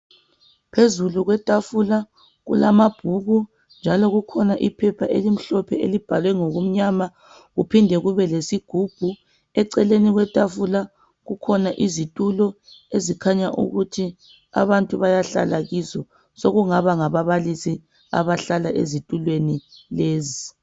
Phezulu kwetafula kukhona amabhuku njalo kukhona iphepha elimhlophe elibhalwe ngokumnyama kuphinde kubelesigubhu, eceleni ketafula kukhona izitulo ezikhanya ukuthi abantu bayahlala kizo. Sokungaba ngababalisi abahlala ezitulweni lezi.